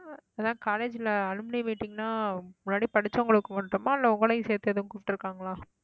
அதான் college ல alumni meeting ன்னா முன்னாடி படிச்சவங்களுக்கு மட்டுமா இல்லை உங்களையும் சேர்த்து எதுவும் கூப்பிட்டிருக்காங்களா